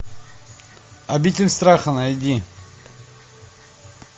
обитель страха найди